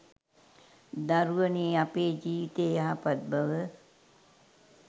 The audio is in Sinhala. දරුවනේ අපේ ජීවිතයේ යහපත් බව